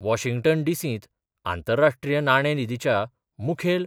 Washington डिसींत आंतरराष्ट्रीय नाणे निधीच्या मुखेल